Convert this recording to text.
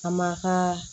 A ma ka